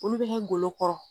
Olu bɛ ne golo kɔrɔ.